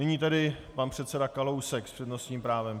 Nyní tedy pan předseda Kalousek s přednostním právem.